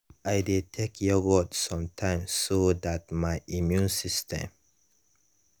i dey take yogurt sometime so that my immune system